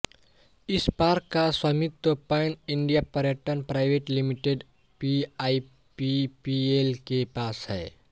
इस पार्क का स्वामित्व पैन इंडिया पर्यटन प्राइवेट लिमिटेड पीआईपीपीएल के पास है